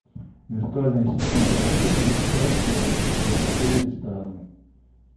виртуальный ассистент работают ли сейчас в отеле рестораны